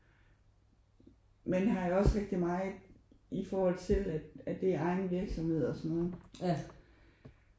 Men har jo også rigtig meget i forhold til at at at det er egen virksomhed og sådan noget